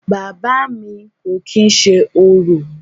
Bàbá à mi kò kìí ṣe orò.